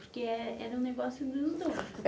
Porque é era um negócio dos dois.